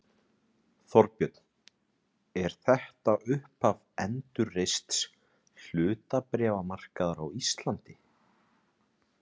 Þorbjörn: Er þetta upphaf endurreists hlutabréfamarkaðar á Íslandi?